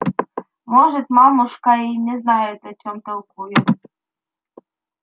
может мамушка и не знает о чем толкует